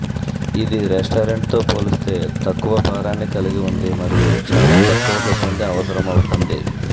ఇది రెస్టారెంట్తో పోలిస్తే తక్కువ భారాన్ని కలిగి ఉంది మరియు చాలా తక్కువ సిబ్బంది అవసరమవుతుంది